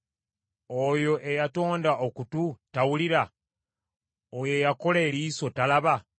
Oyo eyatonda okutu tawulira? Oyo eyakola eriiso talaba?